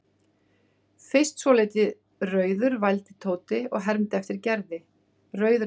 Fyrst svolítið rauður vældi Tóti og hermdi eftir Gerði, rauður eins og karfi.